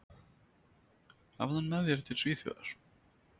Hafðu hann með þér til Svíþjóðar.